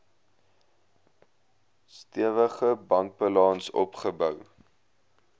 stewige bankbalans opgebou